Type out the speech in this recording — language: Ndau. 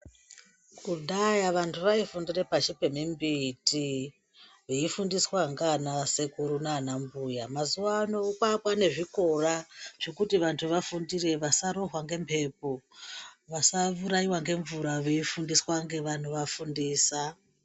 Kudhaya vanthu vaifundira pashi pemimbiti veifundiswa nanasekuru nanambuya mazuvaano kwaane zvikora zvekuti vanthu vafundire vasarohwe ngembepo vasaurayiwa nemvura veifundiswa nevanovafundisa.